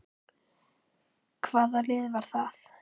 Hvaða lið var það?